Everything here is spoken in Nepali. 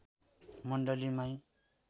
मण्डली माई